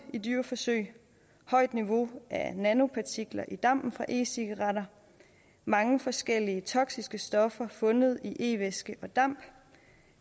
i dyreforsøg højt niveau af nanopartikler i dampen fra e cigaretter mange forskellige toksiske stoffer fundet i e væske og damp